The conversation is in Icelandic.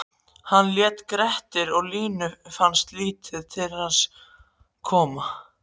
Hann hét Grettir og Línu fannst lítið til hans koma: